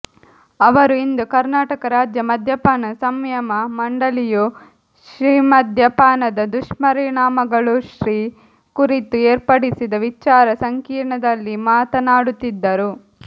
ಅವರು ಇಂದು ಕರ್ನಾಟಕ ರಾಜ್ಯ ಮದ್ಯಪಾನ ಸಂಯಮ ಮಂಡಳಿಯು ಶಿಮದ್ಯಪಾನದ ದುಷ್ಪರಿಣಾಮಗಳುಷಿ ಕುರಿತು ಏರ್ಪಡಿಸಿದ ವಿಚಾರ ಸಂಕಿರಣದಲ್ಲಿ ಮಾತನಾಡುತ್ತಿದ್ದರು